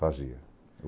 Fazia.